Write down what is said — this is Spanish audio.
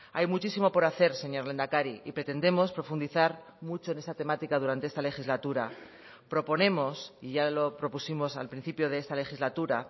hay muchísimo por hacer señor lehendakari y pretendemos profundizar mucho en esa temática durante esta legislatura proponemos y ya lo propusimos al principio de esta legislatura